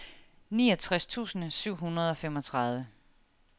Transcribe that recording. niogtres tusind syv hundrede og femogtredive